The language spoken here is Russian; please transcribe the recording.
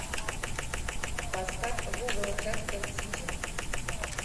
поставь вулверхэмптон сити